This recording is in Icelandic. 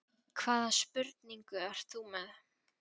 Hvaða spurningu ert þú með?